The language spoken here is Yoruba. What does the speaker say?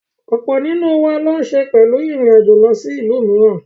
Ọ̀pọ̀ nínú wọn ló ń se pẹ̀lú ìrìn àjò lọ sí ìlú mìíràn.